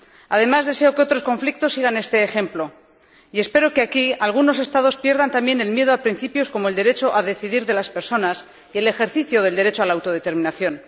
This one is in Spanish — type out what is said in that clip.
Además, deseo que otros conflictos sigan este ejemplo y espero que, aquí, algunos Estados pierdan también el miedo a principios como el derecho a decidir de las personas y el ejercicio del derecho a la autodeterminación.